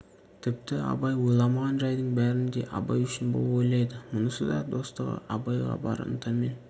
тіпті абай ойламаған жайдың бәрін де абай үшін бұл ойлайды мұнысы да достығы абайға бар ынтамен